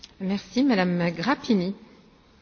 Doamnă președinte, mai întâi la mulți ani.